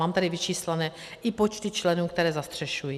Mám tady vyčíslené i počty členů, které zastřešují.